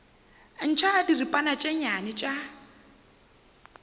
ntšha diripana tše nnyane tša